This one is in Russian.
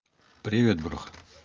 привет бро